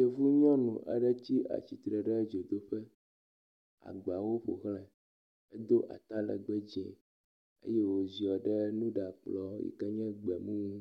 Yevunyɔnu aɖe tsi atsitre ɖe dzodoƒe, agbawo ƒo xlãe. Edo atalẽgbẽ dzẽ eye woziɔ ɖe nuɖakplɔ yi ke nye gbemu ŋu.